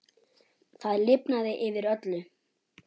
Það lifnaði yfir öllu.